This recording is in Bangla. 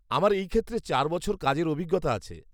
আমার এই ক্ষেত্রে চার বছর কাজের অভিজ্ঞতা আছে।